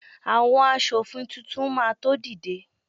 awon aṣòfin Titun ma to dide